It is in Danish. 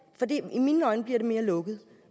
i mine øjne bliver det mere lukket